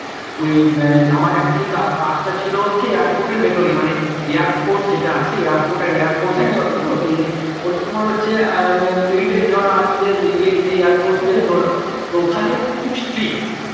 ওই আমার actually কাজটা ছিল হচ্ছে airport এর ভেতরেই মানে air force যেটা আছে airport আর air force একসাথে তো তাই ওগুলো হচ্ছে military ধরো army দের ই তে air force ধরো তো ওখানে খুব streak